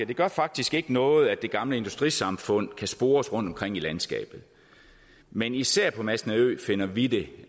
det gør faktisk ikke noget at det gamle industrisamfund kan spores rundtomkring i landskabet men især på masnedø finder vi det